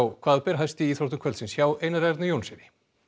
hvað ber hæst í íþróttum kvöldsins hjá Einari Erni Jónssyni